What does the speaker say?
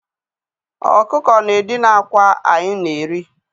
Ọkụkọ na-edina akwa anyị na-eri.